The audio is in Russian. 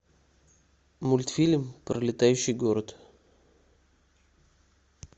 мультфильм про летающий город